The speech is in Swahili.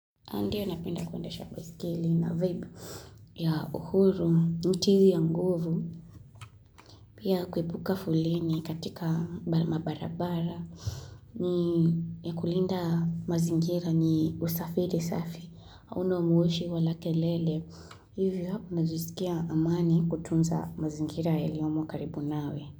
Andi anapenda kuendesha baiskeli na vibe ya uhuru, ni tizi ya nguvu, pia kuepuka foleni katika mabarabara, ni ya kulinda mazingira ni usafiri safi, hauna moshi wala kelele, hivyo unajisikia amani kutunza mazingira yaliomo karibu nawe.